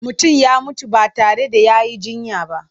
Mutum ya mutu ba tare da ya yi jinya ba.